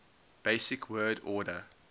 basic word order